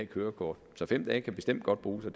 kørekort så fem dage kan bestemt godt bruges og